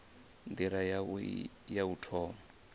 nila yavhui ya u thoma